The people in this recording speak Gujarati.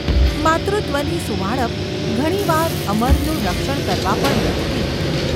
માતૃત્વની સુંવાળાપ ઘણી વાર અમરનું રક્ષણ કરવા પણ મથતી હતી.